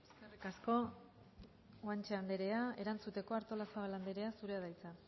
eskerrik asko guanche anderea erantzuteko artolazabal anderea zurea da hitza